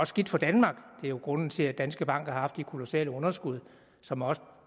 skidt for danmark det er jo grunden til at danske bank har haft de kolossale underskud som også